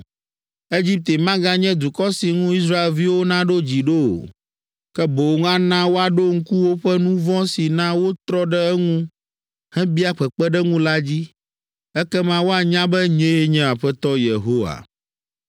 Egipte maganye dukɔ si ŋu Israelviwo naɖo dzi ɖo o, ke boŋ ana woaɖo ŋku woƒe nu vɔ̃ si na wotrɔ ɖe eŋu hebia kpekpeɖeŋu la dzi. Ekema woanya be nyee nye Aƒetɔ Yehowa.” ’”